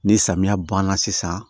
Ni samiya banna sisan